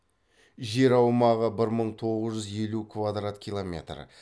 жер аумағы бір мың тоғыз жүз елу квадрат километр